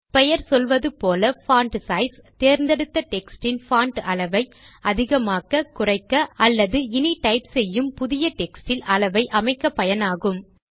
பெயர் சொல்லுவது போல பான்ட் சைஸ் தேர்ந்தெடுத்த டெக்ஸ்ட் இன் பான்ட் அளவை அதிகமாக்க குறைக்க அல்லது இனி டைப் செய்யும் புதிய டெக்ஸ்ட் இல் அளவை அமைக்க பயனாகும்